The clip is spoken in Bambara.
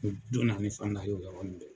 Fata ye o yɔrɔnin bɛɛ.